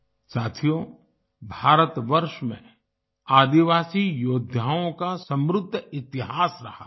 साथियो भारतवर्ष में आदिवासी योद्धाओं का समृद्ध इतिहास रहा है